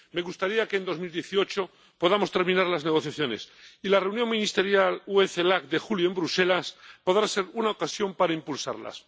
Me gustaría que en 2018 podamos terminar las negociaciones, y la Reunión Ministerial UE Celac de julio, en Bruselas, podrá ser una ocasión para impulsarlas.